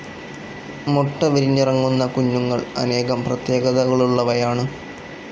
മുട്ട വിരിഞ്ഞിറങ്ങുന്ന കുഞ്ഞുങ്ങൾ അനേകം പ്രത്യേകതകളുള്ളവയാണ്.